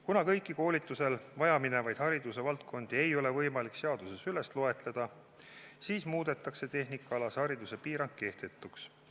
Kuna kõiki koolitusel vajaminevaid haridusvaldkondi ei ole võimalik seaduses loetleda, siis muudetakse tehnikaalase hariduse piirang kehtetuks.